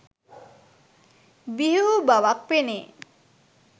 බිහි වූ බවක් පෙනේ